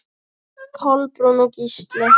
Kolbrún og Gísli.